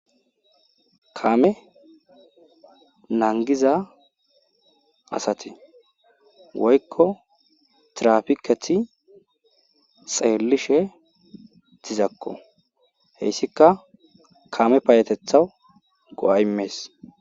Kaame nanggiza asati woykko tiraafiketi xeellishe dzizakko heyssikka kaame payyatethaw go7a immees.